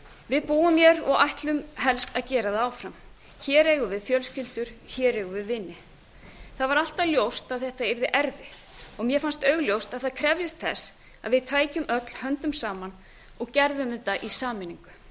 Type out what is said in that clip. við búum hér og ætlum helst að gera það áfram hér eigum við fjölskyldur hér eigum við vini það var alltaf ljóst að þetta yrði erfitt og mér fannst augljóst að það krefðist þess að við tækjum öll höndum saman og gerðum þetta í sameiningu